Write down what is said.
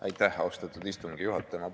Aitäh, austatud istungi juhataja!